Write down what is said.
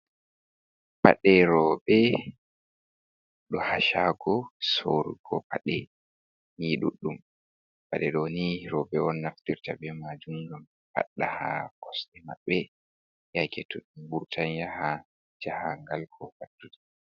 Paɗe roɓe, ɗo ha shago sorugo, paɗe ni duɗɗum, paɗe ɗo ni roɓe on naftirta ɓe majum ɗum paɗɗa ha kosɗe maɓɓe yake to ɓe vurtan yaha jahangal, ko pattude.